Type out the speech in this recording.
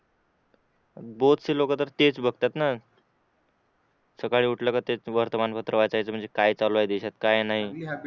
शि लोक तेच बघतात ना सकाळी उठलं का तेच वर्तमानपत्र वाचायचं म्हणजे काय चालू आहे देशात काय नाही